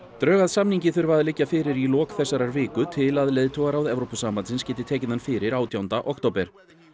drög að samningi þurfa að liggja fyrir í lok þessarar viku til að leiðtogaráð Evrópusambandsins geti tekið hann fyrir átjánda október